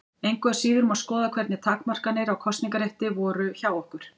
Engu að síður má skoða hvernig takmarkanir á kosningarétti voru hjá okkur.